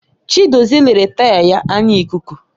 Chidozie lere taya ya anya ikuku